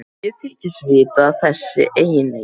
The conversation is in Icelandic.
Ég þykist vita að þessi eiginleiki